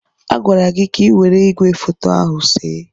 A gwara gị ka ị were igwefoto ahụ see!